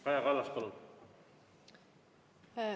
Kaja Kallas, palun!